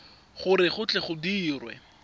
gore go tle go dirwe